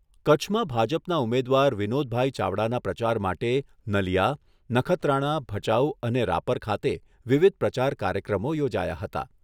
કચ્છમાં ભાજપના ઉમેદવાર વિનોદભાઈ ચાવડાના પ્રચાર માટે નલીયા, નખત્રાણા, ભચાઉ અને રાપર ખાતે વિવિધ પ્રચાર કાર્યક્રમો યોજાયા હતા.